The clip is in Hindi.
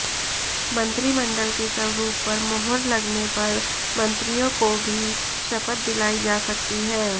मंत्रिमंडल के स्वरूप पर मुहर लगने पर मंत्रियों कोा भी शपथ दिलाई जा सकती है